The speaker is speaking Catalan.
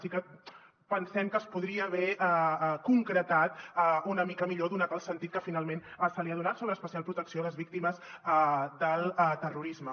sí que pensem que es podria haver concretat una mica millor donat el sentit que finalment se li ha donat sobre especial protecció a les víctimes del terrorisme